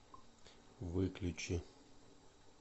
выключи